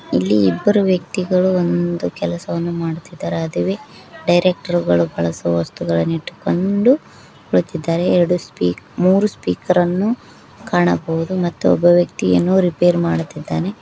ಇಲ್ಲಿ ಇಬ್ಬರು ವ್ಯಕ್ತಿಗಳು ಒಂದು ಕೆಲಸವನ್ನು ಮಾಡುತ್ತಿದ್ದಾರೆ ಅದುವೆ ಡೈರೆಕ್ಟರ್ ಬಳಸುವ ವಸ್ತುಗಳನ್ನು ಇಟ್ಟುಕೊಂಡು ಕುಳಿತಿದ್ದಾರೆ ಎರಡು ಮೂರು ಸ್ಪೀಕರ್ ಅನ್ನು ಕಾಣಬಹುದು ಮತ್ತು ಒಬ್ಬ ವ್ಯಕ್ತಿಯನ್ನು ರಿಪೇರ್ ಮಾಡುತ್ತಿದ್ದಾನೆ.